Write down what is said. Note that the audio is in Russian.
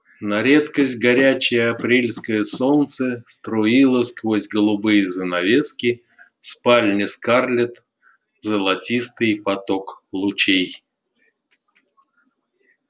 на редкость горячее апрельское солнце струило сквозь голубые занавески в спальне скарлетт золотистый поток лучей